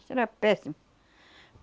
Isso era péssimo.